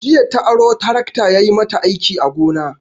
Jiya ta aro tarakta yayi mata aiki a gona.